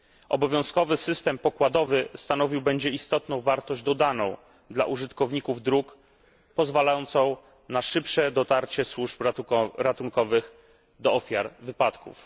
Obowiązkowy system pokładowy stanowił będzie istotną wartość dodaną dla użytkowników dróg, pozwalającą na szybsze dotarcie służb ratunkowych do ofiar wypadków.